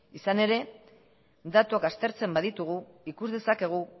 izan ere datuak aztertzen baditugu ikus dezakegu